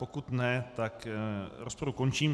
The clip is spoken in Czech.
Pokud ne, tak rozpravu končím.